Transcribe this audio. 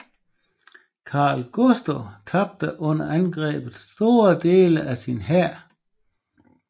Karl Gustav tabte under angrebet store dele af sin hær